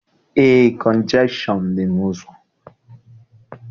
Eé, kọnjekshọn dị n'ụzọ.